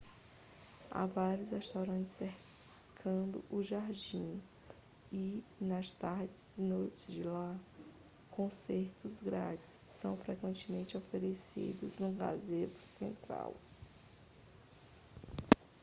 há vários restaurantes cercando o jardim e nas tardes e noites de lá concertos grátis são frequentemente oferecidos no gazebo central